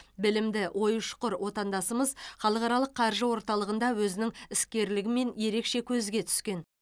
білімді ойы ұшқыр отандасымыз халықаралық қаржы орталығында өзінің іскерлігімен ерекше көзге түскен